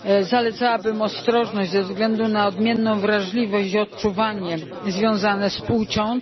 zalecałbym ostrożność ze względu na odmienną wrażliwość i odczuwanie związane z płcią.